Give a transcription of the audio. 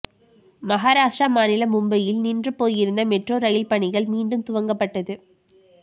மகராஷ்ட்ரா மாநிலம் மும்பையில் நின்று போயிருந்த மெட்ரோ ரயில் பணிகள் மீண்டும் துவக்கப்பட்டது